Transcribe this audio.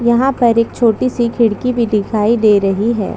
यहाँ पर एक छोटी सी खिड़की भी दिखाई दे रही है।